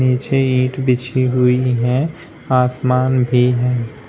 नीचे इट बिछी हुई है आसमान भी है।